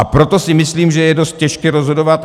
A proto si myslím, že je dost těžké rozhodovat...